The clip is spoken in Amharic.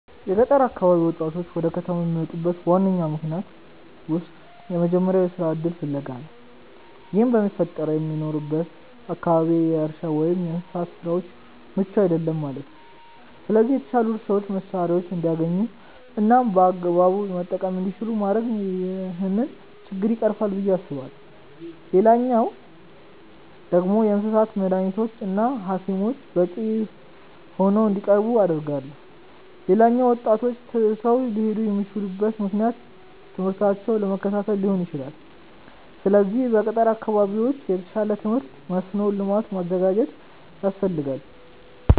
የገጠር አካባቢ ወጣቶች ወደ ከተማ ከሚመጡበት ዋነኛ ምክንያቶች ውስጥ የመጀመሪያው የስራ እድል ፍለጋ ነው። ይህም የሚፈጠረው በሚኖሩበት አካባቢ የእርሻ ወይም የእንስሳት ስራው ምቹ አይደለም ማለት ነው። ስለዚህ የተሻሉ የእርሻ መሳሪያዎችን እንዲያገኙ እናም በአግባቡ መጠቀም እንዲችሉ ማድረግ ይህንን ችግር ይቀርፋል ብዬ አስባለሁ። ሌላኛው ደግሞ የእንስሳት መዳኒቶች እና ሀኪሞች በቂ ሆነው እንዲቀርቡ አደርጋለሁ። ሌላኛው ወጣቶች ትተው ሊሄዱ የሚችሉበት ምክንያት ትምህርታቸውን ለመከታተል ሊሆን ይችላል። ስለዚህ በገጠር አካባቢዎች የተሻለ የትምህርት መስኖ ልማት ማዘጋጀት ያስፈልጋል።